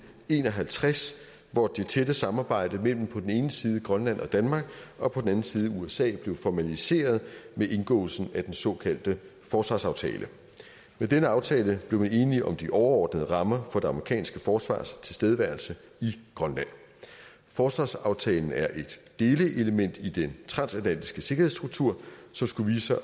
en og halvtreds hvor det tætte samarbejde mellem på den ene side grønland og danmark og på den anden side usa blev formaliseret med indgåelsen af den såkaldte forsvarsaftale med denne aftale blev man enige om de overordnede rammer for det amerikanske forsvars tilstedeværelse i grønland forsvarsaftalen er et delelement i den transatlantiske sikkerhedsstruktur som skulle vise sig